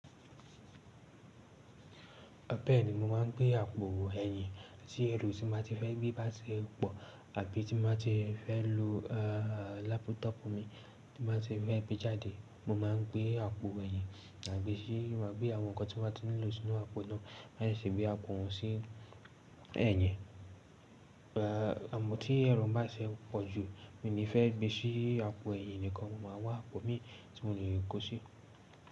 Bẹ́ẹ̀ni, mo máà ń gbé àpò ẹ̀yìn sí ẹrù tí máa ti fẹ́ gbé bá ṣe pọ̀ àbí tí máa ti fẹ́ lo lápútọ̀pù mi tí máa ti fẹ́ gbé jáde. Mo máa ń gbé àpò ẹ̀yìn, ma gbe si, máa gbé àwọn nǹkan tí o ba ti wulo sínú àpò náà, máa sì gbé àpò náà sí ẹ̀yìn. Àmọ́ tí ẹrù ohun bá ti jù, mi ò ní fẹ́ gbé sí àpò ẹ̀yìn nìkan, mo máa wá àpò mi tí mo lè kó sí.